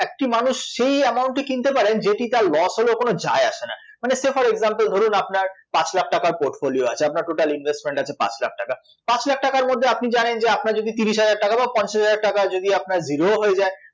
একটি মানুষ সেই amount ই কিনতে পারেন যেটি তার loss হলেও কোনো যায় আসে না, মানে say for exmple ধরুন আপনার পাঁচ লাখ টাকার portfolio আছে, আপনার total investment আছে পাঁচ লাখ টাকা, পাঁচ লাখ টাকার মধ্যে আপনি জানেন যে আপনার যদি তিশির হাজার টাকা বা পঞ্চাশ হাজার টাকাও যদি আপনার zero ও হয়ে যায়